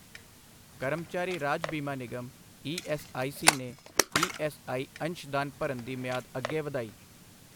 ਕਰਮਚਾਰੀ ਰਾਜ ਬੀਮਾ ਨਿਗਮ ਈ ਐੱਸ ਆਈ ਸੀ ਨੇ ਈ ਐੱਸ ਆਈ ਅੰਸ਼ਦਾਨ ਭਰਨ ਦੀ ਮਿਆਦ ਅੱਗੇ ਵਧਾਈ